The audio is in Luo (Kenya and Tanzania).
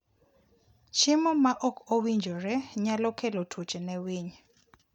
Chiemo maok owinjore nyalo kelo tuoche ne winy.